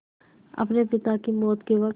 अपने पिता की मौत के वक़्त